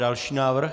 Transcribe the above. Další návrh?